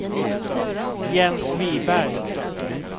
Jens Wiberg